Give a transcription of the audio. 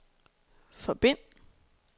forbind